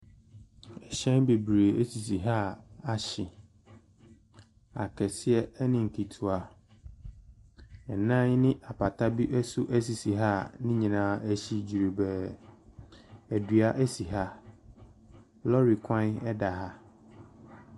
Ɛhyɛn bebree sisi ha a ahye. Akɛseɛ ne nketewa. Nnan ne apata bi nso sisi ha a ne nyinaa ahye dwerebɛɛ. Ɛdua si ha. Lɔɔre kwan da ha.